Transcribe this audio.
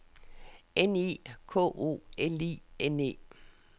N I K O L I N E